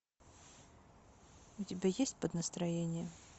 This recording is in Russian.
у тебя есть под настроение